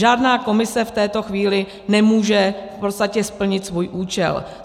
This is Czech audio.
Žádná komise v této chvíli nemůže v podstatě splnit svůj účel.